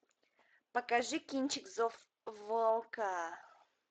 покажи кинчик зов волка